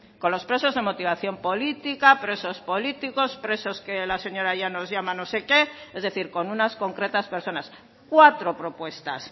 con los presos de motivación política presos políticos presos que la señora llanos llama no sé qué es decir con unas concretas personas cuatro propuestas